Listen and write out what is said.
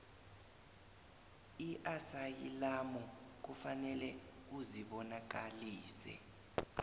iasayilamu kufanele uzibonakalise